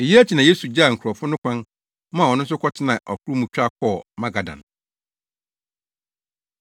Eyi akyi na Yesu gyaa nkurɔfo no kwan, maa ɔno nso kɔtenaa ɔkorow mu twa kɔɔ Magadan.